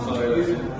Allah canı sağ eləsin.